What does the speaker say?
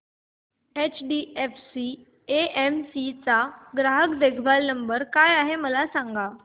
HDFC AMC चा ग्राहक देखभाल नंबर काय आहे मला सांग